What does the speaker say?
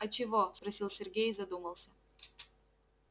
а чего спросил сергей и задумался